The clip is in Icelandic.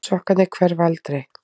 Sokkarnir hverfa aldrei.